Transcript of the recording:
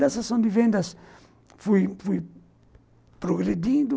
Na sessão de vendas fui fui progredindo.